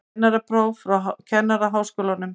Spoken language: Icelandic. Kennarapróf frá Kennaraháskólanum